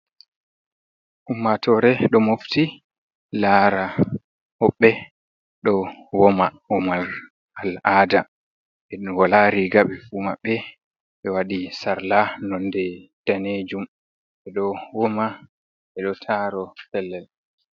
Ummatore ɗo mofti lara hoɓɓe ɗo woma, womal al aada en wala riga ɓe fu maɓɓe, ɓe waɗi sarla nonde danejum ɓe ɗo woma, ɓe ɗo taro pellel.